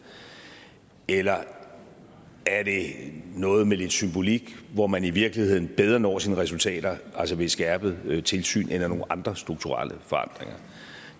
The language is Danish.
eller er det noget med lidt symbolik hvor man i virkeligheden bedre når sine resultater ved et skærpet tilsyn eller ved nogle andre strukturelle forandringer